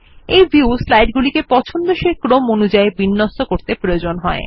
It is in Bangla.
এই ভিউ স্লাইড গুলিকে পছন্দসই ক্রম অনুযায়ী বিন্যস্ত করতে প্রয়োজনীয়